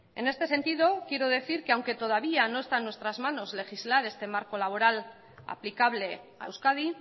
en este sentido quiero decir que aunque todavía no está en nuestras manos legislar este marco laboral aplicable a euskadi